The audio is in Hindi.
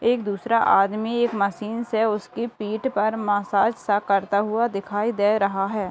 एक दूसरा आदमी एक मशीन से उसका पीठ पर मसाज सा करता हुआ दिखाई रहा है।